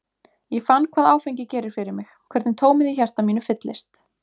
Ég fann hvað áfengi gerir fyrir mig, hvernig tómið í hjarta mínu fyllist.